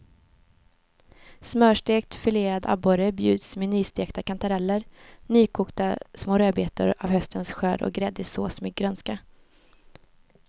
Smörstekt filead abborre bjuds med nystekta kantareller, nykokta små rödbetor av höstens skörd och gräddig sås med grönska.